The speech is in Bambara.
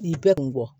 I bɛɛ kun kɔ